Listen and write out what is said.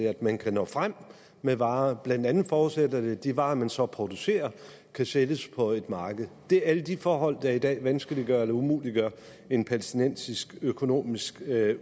at man kan nå frem med varer blandt andet forudsætter det at de varer man så producerer kan sælges på et marked det er alle de forhold der i dag vanskeliggør eller umuliggør en palæstinensisk økonomisk